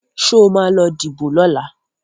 Sọ ma lọ díbò lọ́la?